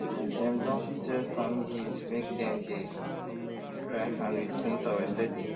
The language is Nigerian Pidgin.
dem don tell families make dem dey dry hand with clean towel steady